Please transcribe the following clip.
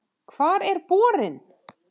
Hvar er borinn?